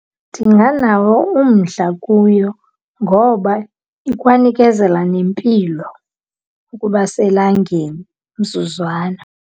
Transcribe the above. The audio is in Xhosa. Ndinganawo umdla kuyo ngoba ikwanikezela nempilo ukuba selangeni umzuzwana.